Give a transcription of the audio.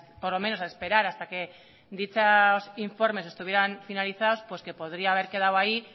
por lo menos a esperar hasta que dichos informes estuvieran finalizados pues que podría haber quedado ahí